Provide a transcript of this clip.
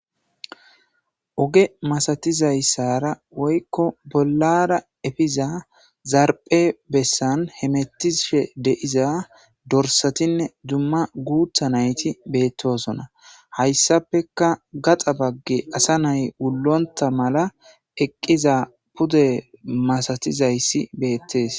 Oge masayizaysara woyko bollara efiza zarphe bessan hemetishe de'iza dorsatinne duma gutha nayti betosona haysapeka gaxa bage asa nay wulonta mala eqiza pude masatizaysi beetes